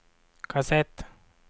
kassett